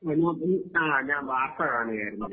ഹാ ഞാൻ വാർത്ത കാണുകയായിരുന്നു